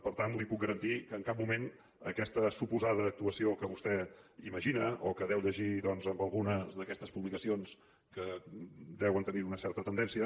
per tant li puc garantir que en cap moment aquesta suposada actuació que vostè imagina o que deu llegir doncs en algunes d’aquestes publicacions que deuen tenir una certa tendència